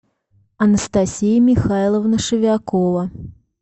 анастасия михайловна шевякова